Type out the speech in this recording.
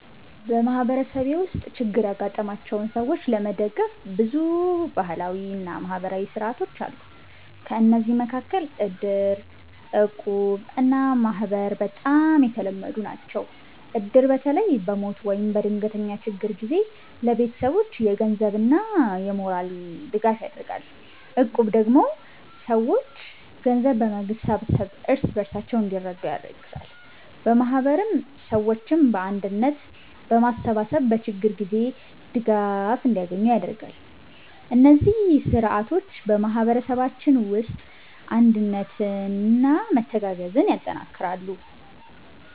በማህበረሰቤ ውስጥ ችግር ያጋጠማቸውን ሰዎች ለመደገፍ ብዙ ባህላዊ እና ማህበራዊ ሥርዓቶች አሉ። ከእነዚህ መካከል እድር፣ እቁብ እና ማህበር በጣም የተለመዱ ናቸው። እድር በተለይ በሞት ወይም በድንገተኛ ችግር ጊዜ ለቤተሰቦች የገንዘብና የሞራል ድጋፍ ያደርጋል። እቁብ ደግሞ ሰዎች ገንዘብ በመሰብሰብ እርስ በርሳቸው እንዲረዱ ያግዛል። ማህበርም ሰዎችን በአንድነት በማሰባሰብ በችግር ጊዜ ድጋፍ እንዲያገኙ ያደርጋል። እነዚህ ሥርዓቶች በማህበረሰባችን ውስጥ አንድነትና መተጋገዝን ያጠናክራሉ።